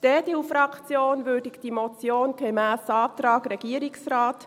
Die EDU-Fraktion würdigt diese Motion gemäss dem Antrag des Regierungsrates: